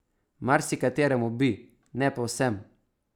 Marsikateremu bi, ne pa vsem.